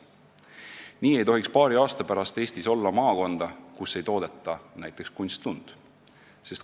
Nii ei tohiks paari aasta pärast Eestis olla maakonda, kus näiteks kunstlund ei toodeta.